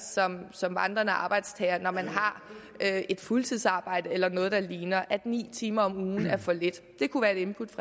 som vandrende arbejdstager når man har et fuldtidsarbejde eller noget der ligner altså at ni timer om ugen er for lidt det kunne være et input